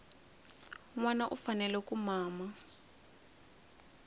nwana u fanele ku mama